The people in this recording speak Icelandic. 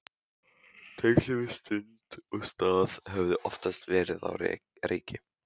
Tengslin við stund og stað höfðu oftast verið á reiki.